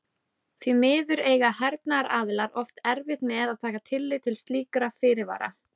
Því miður eiga hernaðaraðilar oft erfitt með að taka tillit til slíkra fyrirvara.